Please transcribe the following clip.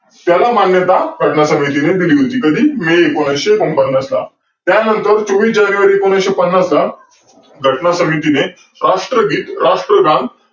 त्याला मान्यता घटना समितीने दिली होती कधी एकोणविशे पन्नासला. त्यांनतर चोवीस जानेवारी एकोणविशे पन्नासला घटना समितीने राष्टगीत राष्ट्रगान